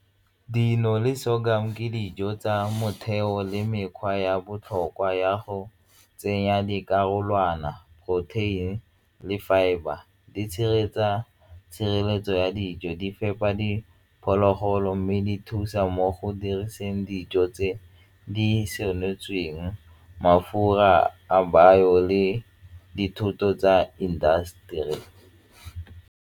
Dino le sorghum ke dijo tsa motheo le mekgwa ya botlhokwa ya go tsenya di karolwana, protein le fibre. Di tshireletsa tshireletso ya dijo di fepa diphologolo mme di thusa mo go diriseng dijo tse di senotsweng, mafura a bao le dithoto tsa indaseteri.